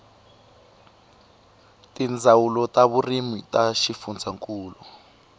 tindzawulo ta vurimi ta swifundzankulu